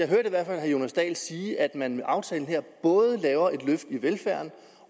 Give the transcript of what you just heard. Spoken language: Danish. herre jonas dahl sige at man med aftalen her både laver et løft i velfærden